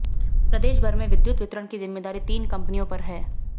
प्रदेश भर में विद्युत वितरण की जिम्मेदारी तीन कंपनियों पर है